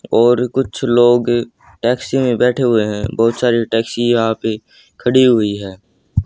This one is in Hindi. और कुछ लोग टैक्सी में बैठे हुए है बहोत सारे टैक्सी यहां पे खड़ी हुई है।